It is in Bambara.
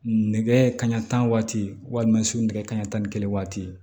Nɛgɛ kanɲɛ tan waati walima suɛgɛ kanɲɛ tan ni kelen waati